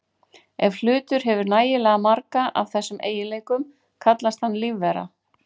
Ef hlutur hefur nægilega marga af þessum eiginleikum kallast hann lífvera.